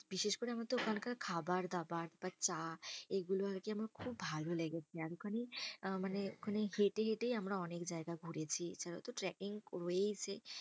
বিশেষ করে আমার তো ওখানকার খাবারদাবার বা চা এগুলো আর কি আমার খুব ভালো লেগেছে। ওখানে আহ মানে ওখানে হেঁটেই হেঁটেই আমরা অনেক জায়গা ঘুরেছি। এছাড়াও তো tracking রয়েইছে।